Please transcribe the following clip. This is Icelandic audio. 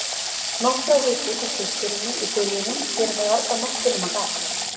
Nokkrar vikur hjá systurinni í Firðinum gera mér varla nokkuð nema gagn.